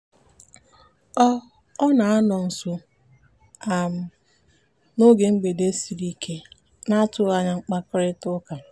ọ ọ na-anọ nso um n'oge mgbede sịrị ike na-atụghị anya mkparịtaụka